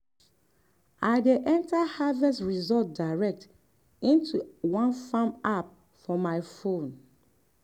i dey enter harvest result direct into one farm app for my phone.